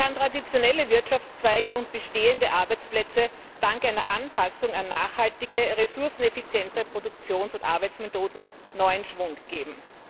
Sie kann traditionelle Wirtschaftszweige und bestehende Arbeitsplätze dank einer Anpassung an nachhaltige, ressourceneffiziente Produktions und Arbeitsmethoden neuen Schwung geben.